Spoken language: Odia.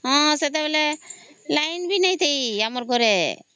ହଁ ସେତେବେଳେ ଲାଇନ ଭି ନାହିଁ ଥାଇ ଆମରି ଘରେ